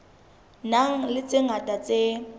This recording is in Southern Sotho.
nang le tse ngata tse